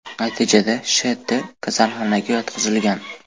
Natijada Sh.T kasalxonaga yotqizilgan.